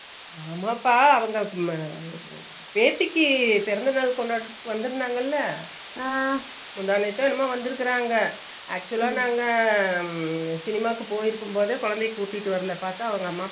ஆமாபா அவுங்க மா பேத்திக்கி பிறந்தநாள் கொண்டாடறதுக்கு வந்துருந்தாங்களா Noise முந்தநேதோ என்னமோ வந்துருகாங்க actual அ நாங்க சினிமாக்கு போயிருக்கும்போதே கொழதையா கூட்டிட்டு வரலா பாத்த அவுங்க அம்மா